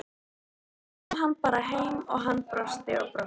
Ég dró hann bara heim og hann brosti og brosti.